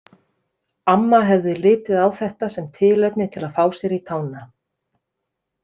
Amma hefði litið á þetta sem tilefni til að fá sér í tána.